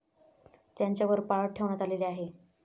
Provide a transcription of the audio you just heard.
त्यांच्यावर पाळत ठेवण्यात आलेली आहे.